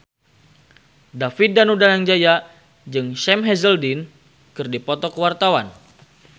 David Danu Danangjaya jeung Sam Hazeldine keur dipoto ku wartawan